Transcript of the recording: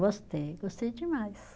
Gostei, gostei demais.